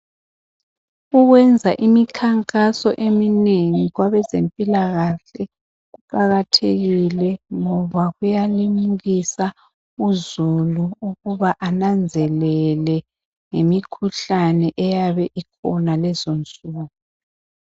Ukwenza imikhankaso eminengi kwabazempilakahle kuqakathekile ngoba kuyalimukisa uzulu ukuba ananzelele ngemikhuhlane eyabe ikhona lezonsuku